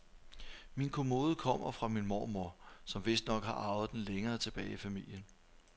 Min kommode kommer fra min mormor, som vistnok har arvet den længere tilbage i familien.